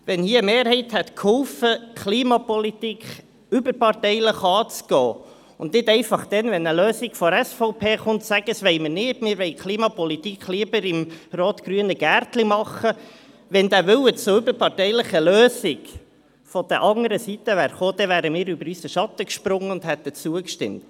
Wenn eine Mehrheit mitgeholfen hätte, die Klimapolitik überparteilich anzugehen, anstatt dann, wenn eine Lösung von der SVP kommt, zu sagen, man wolle Klimapolitik lieber im rot-grünen Gärtchen betreiben, wenn also der Wille zu einer überparteilichen Lösung von der anderen Seite gekommen wäre, dann wären wir über unseren Schatten gesprungen und hätten zugestimmt.